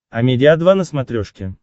амедиа два на смотрешке